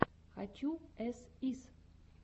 хочу эс ис